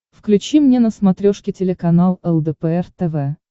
включи мне на смотрешке телеканал лдпр тв